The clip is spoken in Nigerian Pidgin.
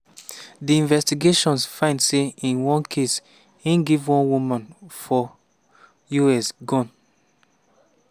di investigations find say in one case e give one woman for us gun.